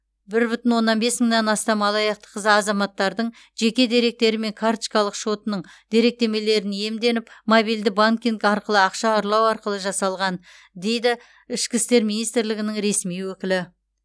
бір бүтін оннан бес мыңнан астам алаяқтық за азаматтардың жеке деректері мен карточкалық шотының деректемелерін иемденіп мобильді банкинг арқылы ақша ұрлау арқылы жасалған дейді ішкі істер министрлігінің ресми өкілі